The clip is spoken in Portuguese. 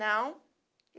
Não.